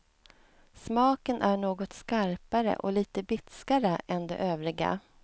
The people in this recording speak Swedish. Smaken är något skarpare och lite bitskare än de övriga.